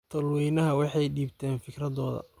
Tolweynaha waxay dibteen fikradhoda.